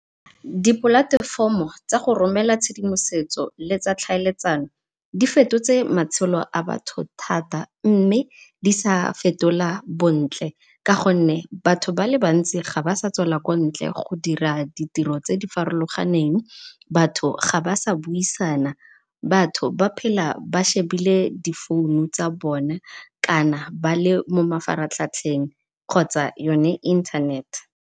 Di polatefomo tsa go romela tshedimosetso le tsa ditlhaeletsano difetotse matshelo a batho thata mme di sa fetola bontle ka gonne batho ba le bantsi ga ba sa tswela kwa ntle go dira ditiro tse di farologaneng, batho ga ba sa buisana, batho ba phela ba shebile di founo tsa bona kana bale mo mafaratlhatlheng kgotsa yone internet.